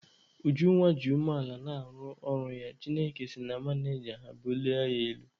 Ujunwa ji umeala na-arụ ọrụ ya, Chineke si na manịja ha bulie ya elu.